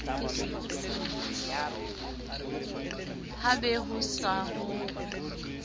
ha be ho se ho